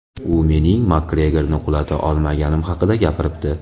U mening Makgregorni qulata olmaganim haqida gapiribdi.